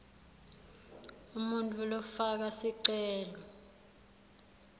umuntfu lofaka sicelo